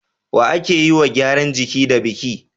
wa ake yiwa gyaran jiki da biki